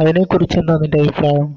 അതിനെ കുറിച്ചെന്താ നിൻറെ അഭിപ്രായം